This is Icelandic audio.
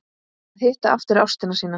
Að hitta aftur ástina sína